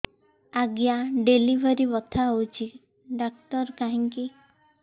ଆଜ୍ଞା ଡେଲିଭରି ବଥା ହଉଚି ଡାକ୍ତର କାହିଁ କି